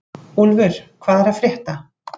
Úlfur, hvað er að frétta?